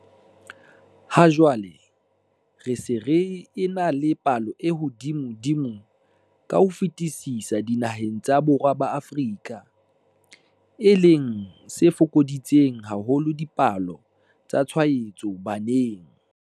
Ha jwale re se re ena le palo e hodimodimo ka ho fetisisa dinaheng tsa Borwa ba Afrika, e leng se fokoditseng haholo dipalo tsa tshwaetso baneng.